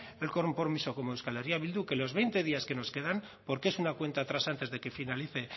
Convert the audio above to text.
el compromiso como eh bildu que los veinte días que nos quedan porque es una cuenta atrás antes de que finalice